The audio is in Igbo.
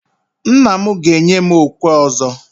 Nna m ga-enye m okwe ọzọ.